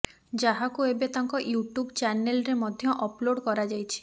ଯାହାକୁ ଏବେ ତାଙ୍କ ୟୁଟ୍ୟୁବ୍ ଚ୍ୟାନେଲ୍ରେ ମଧ୍ୟ ଅପଲୋଡ କରାଯାଇଛି